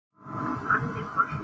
Hannibal